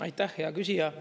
Aitäh, hea küsija!